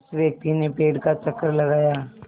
उस व्यक्ति ने पेड़ का चक्कर लगाया